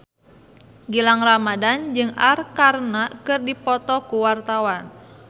Gilang Ramadan jeung Arkarna keur dipoto ku wartawan